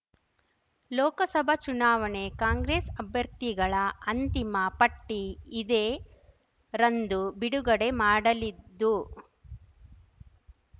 ಲೋಕಸಭಾ ಚುನಾವಣೆ ಕಾಂಗ್ರೆಸ್ ಅಭ್ಯರ್ಥಿಗಳ ಅಂತಿಮ ಪಟ್ಟಿ ಇದೇ ರಂದು ಬಿಡುಗಡೆ ಮಾಡಲಿದ್ದು